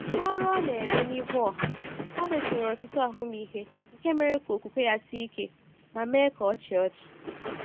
N’ọrụ ọ na-eme n’ihu ọha, Herbert nwere ọtụtụ ahụmịhe nke mere ka okwukwe ya sie ike — ma mee ka ọ chịa ọchị.